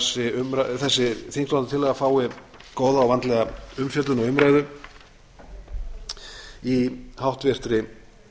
vænti ég þess að þessi þingsályktunartillaga fái góða og vandlega umfjöllun og umræðu í háttvirtri